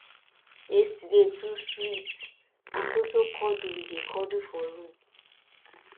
yesterday too sweet na so so cuddle we dey cuddle for room